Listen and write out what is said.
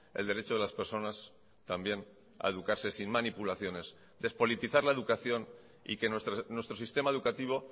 el derecho de las personas también a educarse sin manipulaciones despolitizar la educación y que nuestro sistema educativo